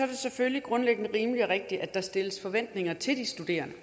det selvfølgelig grundlæggende rimeligt og rigtigt at der stilles forventninger til de studerende